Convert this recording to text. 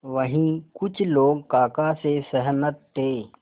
वहीं कुछ लोग काका से सहमत थे